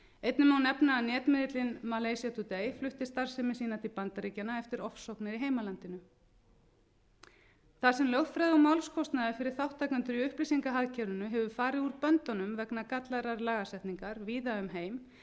einnig má nefna að netmiðillinn malaysia today flutti starfsemi sína til bandaríkjanna eftir ofsóknir í heimalandinu þar sem lögfræði og málskostnaður fyrir þátttakendur í upplýsingahagkerfinu hefur farið úr böndunum vegna gallaðrar lagasetningar víða um heim